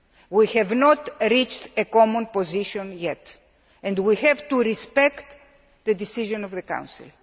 We have not reached a common position yet and we have to respect the decision of the Council.